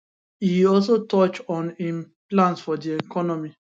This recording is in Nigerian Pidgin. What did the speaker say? e also touch on im plans for di economy